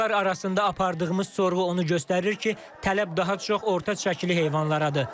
Alıcılar arasında apardığımız sorğu onu göstərir ki, tələb daha çox orta çəkili heyvanlaradır.